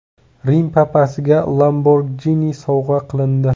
Rim papasiga Lamborghini sovg‘a qilindi.